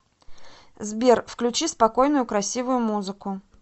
сбер включи спокойную красивую музыку